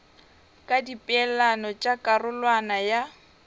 ka dipeelano tša karolwana ya